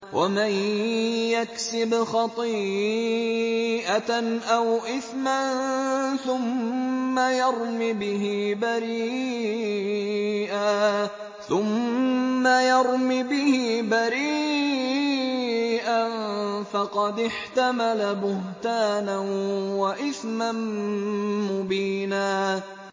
وَمَن يَكْسِبْ خَطِيئَةً أَوْ إِثْمًا ثُمَّ يَرْمِ بِهِ بَرِيئًا فَقَدِ احْتَمَلَ بُهْتَانًا وَإِثْمًا مُّبِينًا